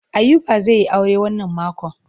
Ayuba zai yi aure wannan makon.